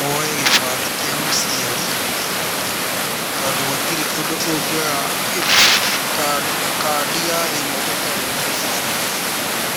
woye kĩbandĩ kĩa mũciari tondũ gũtirĩ ũndũ ũngĩoya kandi ya thimũ ũtarĩ na gĩbandĩ.